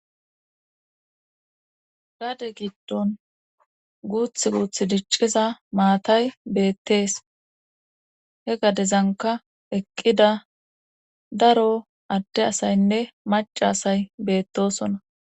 gade giddon guuth guuth dicciza maatay beettees he gadezanka eqqida daro adde asaynne macasay beettosona